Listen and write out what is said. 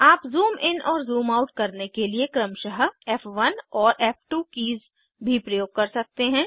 आप zoom in और zoom out करने के लिए क्रमशः फ़1 और फ़2 कीज़ भी प्रयोग कर सकते हैं